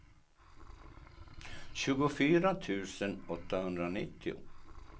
tjugofyra tusen åttahundranittio